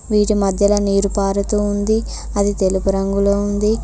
వీటి మధ్యలా నీరు పారుతూ ఉంది అది తెలుపు రంగులో ఉంది.